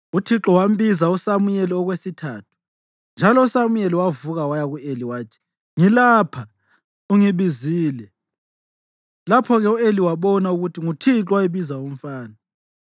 Uthixo wambiza uSamuyeli okwesithathu, njalo uSamuyeli wavuka waya ku-Eli wathi, “Ngilapha; ungibizile.” Lapho-ke u-Eli wabona ukuthi nguThixo owayebiza umfana.